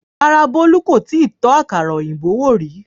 rárá, bolu kò tíì tó àkàrà òyìnbó wò rí